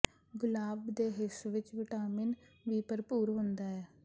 ਗੁਲਾਬ ਦੇ ਹਿੱਸ ਵਿੱਚ ਵਿਟਾਮਿਨ ਵੀ ਭਰਪੂਰ ਹੁੰਦਾ ਹੈ